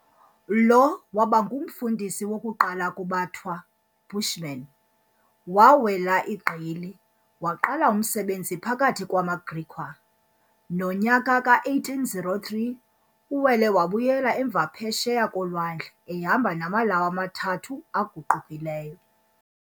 Lo waaba ngumfundisi wokuqala kubaThwa, Bushmen, waawela igqili, waqala umsebenzi phakathi kwamaGriqua. Nonyaka ka-1803 uwele wabuyela emva Phesheya koLwandle ehamba namaLawu amathathu aguqukileyo.